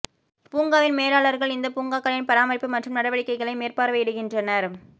பூங்காவின் மேலாளர்கள் இந்த பூங்காக்களின் பராமரிப்பு மற்றும் நடவடிக்கைகளை மேற்பார்வையிடுகின்றனர்